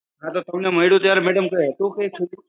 તમને મળ્યું ત્યારે madam હતું કઈ છૂટું?